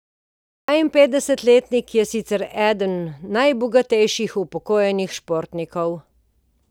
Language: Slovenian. Dvainpetdesetletnik je sicer eden najbogatejših upokojenih športnikov.